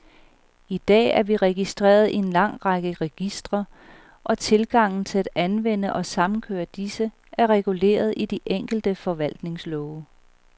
I dag er vi registreret i en lang række registre, og tilgangen til at anvende og samkøre disse, er reguleret i de enkelte forvaltningslove.